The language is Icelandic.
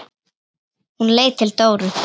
Hún leit til Dóru.